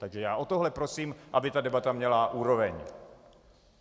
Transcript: Takže já o tohle prosím, aby ta debata měla úroveň.